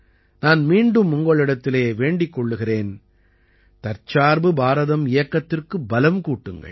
நான் மீண்டும் உங்களிடத்திலே வேண்டிக் கொள்கிறேன் தற்சார்பு பாரதம் இயக்கத்திற்கு பலம் கூட்டுங்கள்